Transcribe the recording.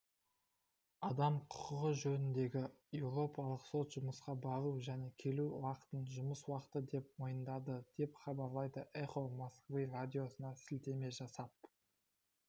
адам құқығы жөніндегі еуропалық сот жұмысқа бару және келу уақытын жұмыс уақыты деп мойындады деп хабарлайды эхо москвы радиосына сілтеме жасап